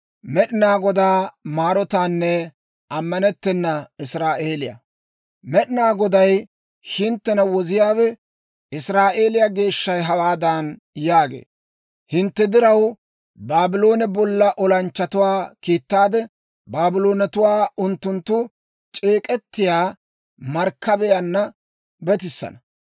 Med'inaa Goday, hinttena Woziyaawe, Israa'eeliyaa Geeshshay hawaadan yaagee; «Hintte diraw, Baabloone bolla olanchchatuwaa kiittaade Baabloonatuwaa unttunttu c'eek'k'etiyaa Markkabiyaanna betisana.